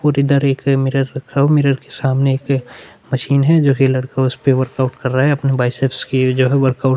इधर एक मिरर रखा हुआ है मिरर के सामने एक मशीन है जोकि लड़का उसपे वर्कआउट कर रहा है अपने बाइसेप्स की जो है वर्कआउट --